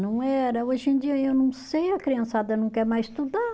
Não era, hoje em dia eu não sei, a criançada não quer mais estudar.